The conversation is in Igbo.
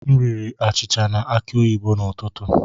M riri achịcha na aki oyibo n'ụtụtụ.